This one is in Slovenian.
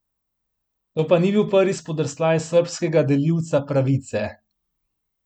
To pa ni bil prvi spodrsljaj srbskega delilca pravice.